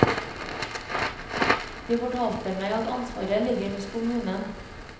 De fortalte meg at ansvaret ligger hos kommunen.